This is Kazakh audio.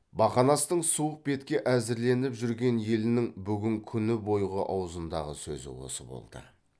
бақанастың суық бетке әзірленіп жүрген елінің бүгін күні бойғы аузындағы сөзі осы болды